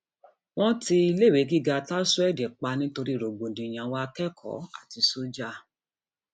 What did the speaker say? wọn ti iléèwé gíga taraseed pa nítorí rògbòdìyàn àwọn akẹkọọ àti sójà